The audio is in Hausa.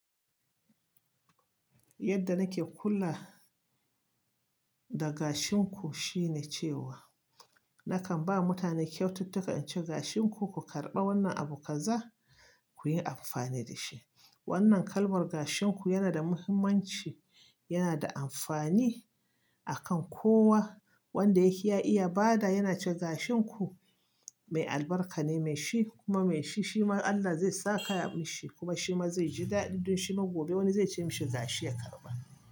Yadda nake kula da gashinku shine cewa nakan ba mutane kyaututtuka, in ce gashinku ku karɓa wannan abu kaza kuyi amfani da shi. Wannan kalmar gashinku yana da muhimmanci, yana da amfani akan kowa wanda yake ya iya bada, yana cewa gashinku mai albarka ne, mai shi kuma mai shi, shi ma Allah zai saka mishi, kuma shi ma zai ji daɗi don shi ma gobe wani zai ce mishi gashi ya karɓa.